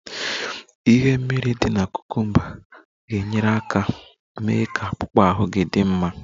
Ihe mmiri dị na cucumbers ga-enyere aka mee ka akpụkpọ ahụ gị dị mma